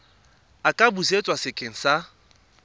a ka busetswa sekeng sa